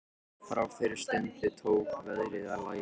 Frá þeirri stundu tók veðrið að lægja.